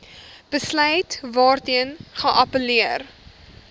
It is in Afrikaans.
besluit waarteen geappelleer